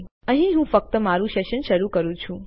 પરંતુ અહીં હું ફક્ત મારું સેશન શરૂ કરું છું